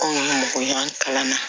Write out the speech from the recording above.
Anw ka mɔgɔ ɲɛnama kalanna